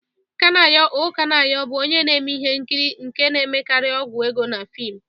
Kanayo O Kanayo bụ onye na-eme ihe nkiri nke na-emekarị ọgwụ ego na fiim.